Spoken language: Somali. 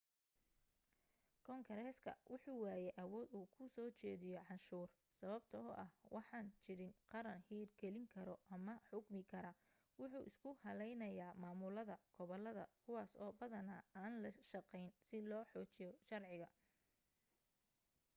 kongareska wuxuu waayey awood uu ku soo jediyo canshuur sababto ah waxaan jiran qaran hir gelin karo ama xukmi kara wuxuu isku halaynayaamaaamulada gobolada kuwaas oo badana aan la shaqeyn si loo xoojiyo sharciga